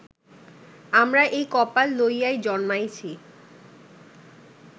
আমরা এই কপাল লইয়াই জন্মাইছি